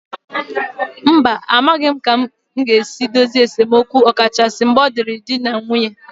Mba, a maghị m ka-esi edozi esemokwu ọkachasị mgbe ọ dịịrị di na nwunye